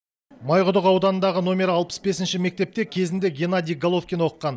майқұдық ауданындағы номері алпыс бесінші мектепте кезінде геннадий головкин оқыған